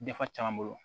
Dafa caman bolo